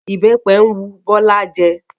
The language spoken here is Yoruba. Ìbẹ́pẹ ń wu Bọ́lá jẹ